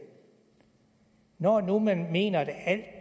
når nu man mener at alt